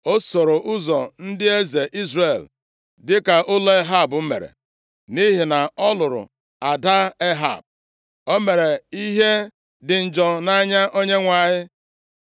O soro ụzọ ndị eze Izrel, dịka ụlọ Ehab mere, nʼihi na ọ lụrụ ada Ehab. O mere ihe dị njọ nʼanya Onyenwe anyị.